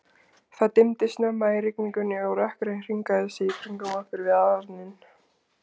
Það dimmdi snemma í rigningunni, og rökkrið hringaði sig í kringum okkur við arininn.